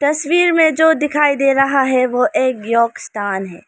तस्वीर में जो दिखाई दे रहा है वह एक योग स्थान है।